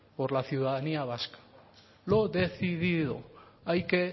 por la ciudadanía vasca lo decidido hay que